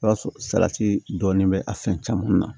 I b'a sɔrɔ salati dɔɔnin bɛ a fɛn caman na